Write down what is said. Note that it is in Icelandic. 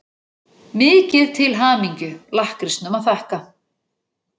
Mikið til hamingju-lakkrísnum að þakka.